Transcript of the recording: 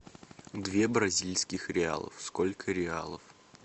две бразильских реалов сколько реалов